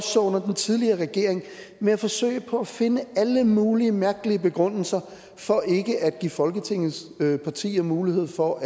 så under den tidligere regering med at forsøge på at finde alle mulige mærkelige begrundelser for ikke at give folketingets partier mulighed for